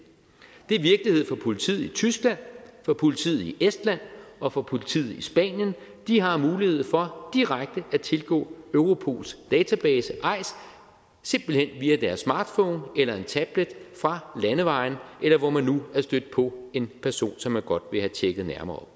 for politiet i tyskland for politiet i estland og for politiet i spanien de har mulighed for direkte at tilgå europols database eis simpelt hen via deres smartphone eller en tablet fra landevejen eller hvor man nu er stødt på en person som man godt vil have tjekket nærmere